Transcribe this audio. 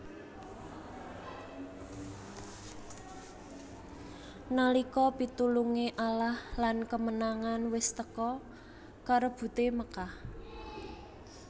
Nalika pitulunge Allah lan kemenangan wis teka karebute Makkah